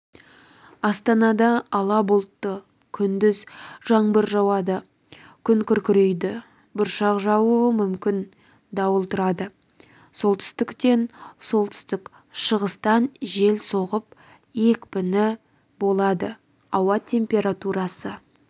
астанада ала бұлтты күндіз жаңбыр жауады күн күркірейді бұршақ жаууы мүмкін дауыл тұрады солтүстіктен солтүстік-шығыстан жел соғып екпіні болады ауа температурасы